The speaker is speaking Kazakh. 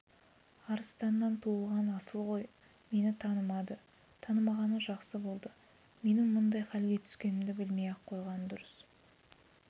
арыстаннан туған асыл ғой мені танымады танымағаны жақсы болды менің мұндай халге түскенімді білмей-ақ қойғаны дұрыс